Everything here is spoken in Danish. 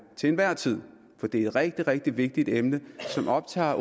til enhver tid for det er et rigtig rigtig vigtigt emne som optager